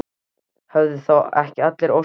Höfðu þá ekki allar óskir Gínu ræst?